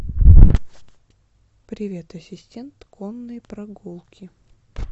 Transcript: привет ассистент конные прогулки